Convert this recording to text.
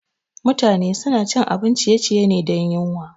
Mutane suna cin abun ciye-ciye ne dan yuwan.